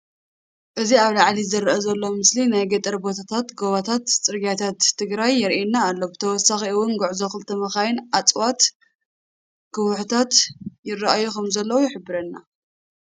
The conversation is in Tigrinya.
እዚ ኣብ ላዓሊ ዝርአ ዘሎ ምስሊ ናይ ገፀር ቦታታትን ,ጎቦታት, ፅርግያታት ትግራይን የርኤና ኣሎ። ብተወሳኺ እውን ጉዕዞ ክልተ መኻይን, እፅዋት, ከውሕታት ይረኣዩ ከምዘለው ይሕብረና።